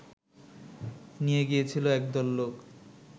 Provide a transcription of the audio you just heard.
নিয়ে গিয়েছিল একদল লোক